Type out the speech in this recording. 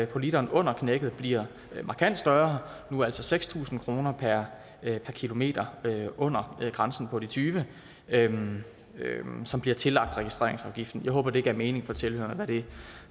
på literen under knækket bliver markant større nu altså seks tusind kroner per kilometer under grænsen på de tyve km som bliver tillagt registreringsafgiften jeg håber det gav mening for tilhørerne hvad det